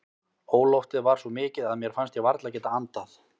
Óloftið var svo mikið að mér fannst ég varla geta andað.